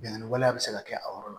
Bingani waleya bɛ se ka kɛ a yɔrɔ la